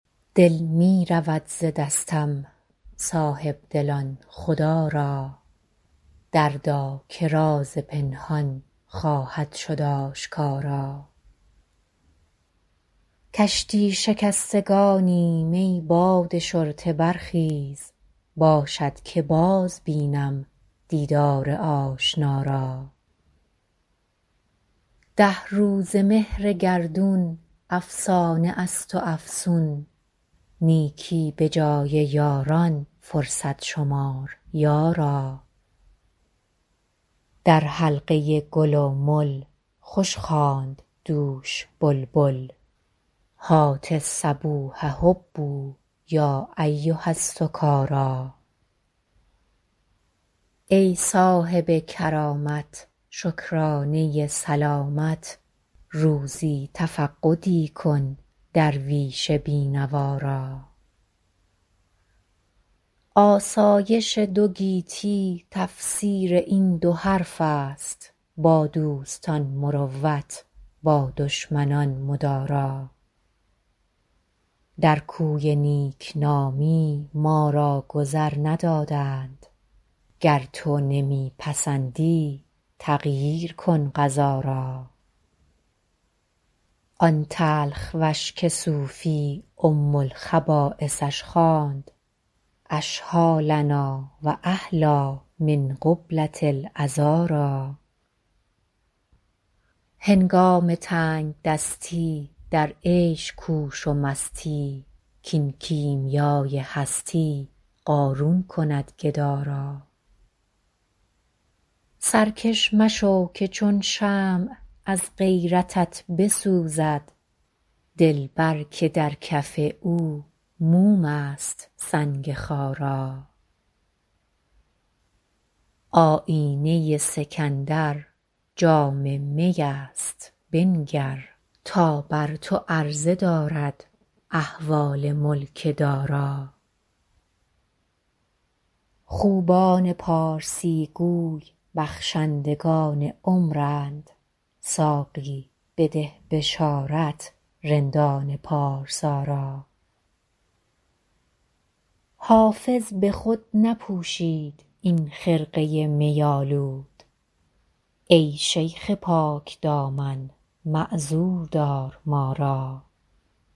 دل می رود ز دستم صاحب دلان خدا را دردا که راز پنهان خواهد شد آشکارا کشتی شکستگانیم ای باد شرطه برخیز باشد که باز بینم دیدار آشنا را ده روزه مهر گردون افسانه است و افسون نیکی به جای یاران فرصت شمار یارا در حلقه گل و مل خوش خواند دوش بلبل هات الصبوح هبوا یا ایها السکارا ای صاحب کرامت شکرانه سلامت روزی تفقدی کن درویش بی نوا را آسایش دو گیتی تفسیر این دو حرف است با دوستان مروت با دشمنان مدارا در کوی نیک نامی ما را گذر ندادند گر تو نمی پسندی تغییر کن قضا را آن تلخ وش که صوفی ام الخبایثش خواند اشهیٰ لنا و احلیٰ من قبلة العذارا هنگام تنگ دستی در عیش کوش و مستی کاین کیمیای هستی قارون کند گدا را سرکش مشو که چون شمع از غیرتت بسوزد دلبر که در کف او موم است سنگ خارا آیینه سکندر جام می است بنگر تا بر تو عرضه دارد احوال ملک دارا خوبان پارسی گو بخشندگان عمرند ساقی بده بشارت رندان پارسا را حافظ به خود نپوشید این خرقه می آلود ای شیخ پاک دامن معذور دار ما را